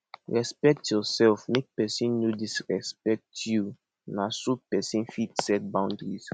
respect yourself make people no disrespect you na so person fit set boundaries